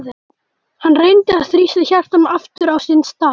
Hann reyndi að þrýsta hjartanu aftur á sinn stað.